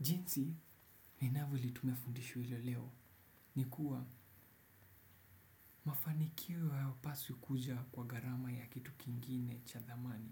Nzi, ni naveli tumefundishwa ilo leo, ni kuwa mafanikio hayapaswi kuja kwa garama ya kitu kingine cha thamani.